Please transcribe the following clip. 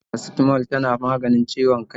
Shin Faracitamol na maganin ciwon kai?